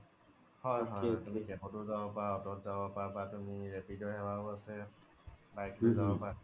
হয় হয় তুমি cab ত ও জব পাৰা বা auto ও বা তুমি ৰেপিডো সেৱা ও আছে bike লই জব পাৰা